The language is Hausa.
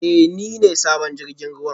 Ee, ni ne sabon jirgin ruwa